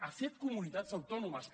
a set comunitats autònomes